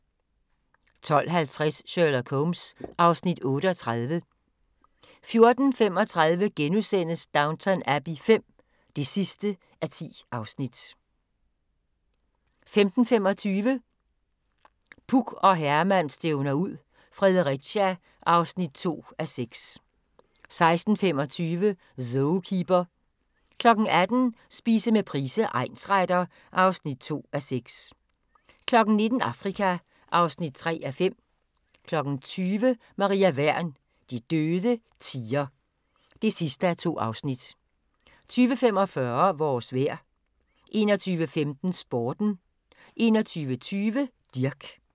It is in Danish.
12:50: Sherlock Holmes (Afs. 38) 14:35: Downton Abbey V (10:10)* 15:25: Puk og Herman stævner ud - Fredericia (2:6) 16:25: Zookeeper 18:00: Spise med Price, egnsretter (2:6) 19:00: Afrika (3:5) 20:00: Maria Wern: De døde tier (2:2) 20:45: Vores vejr 21:15: Sporten 21:20: Dirch